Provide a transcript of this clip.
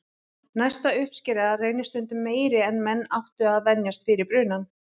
Næsta uppskera reynist stundum meiri en menn áttu að venjast fyrir brunann.